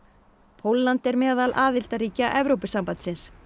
Pólland er meðal aðildarríkja Evrópusambandsins